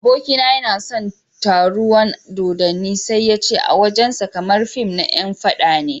Abokina yana son taruwan dodanni sai yace a wajen sa kamar fim na yan faɗa ne.